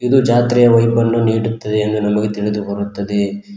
ಇದು ಜಾತ್ರೆಯ ವೈಭನ್ನು ನೀಡುತ್ತದೆ ಎಂದು ನನಗೆ ತಿಳಿದು ಬರುತ್ತದೆ.